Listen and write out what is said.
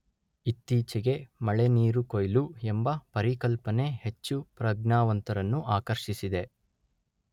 ಇತ್ತೀಚೆಗೆ ಮಳೆ ನೀರು ಕೊಯ್ಲು ಎಂಬ ಪರಿಕಲ್ಪನೆ ಹೆಚ್ಚು ಪ್ರಜ್ಞಾವಂತರನ್ನು ಆಕರ್ಷಿಸಿದೆ.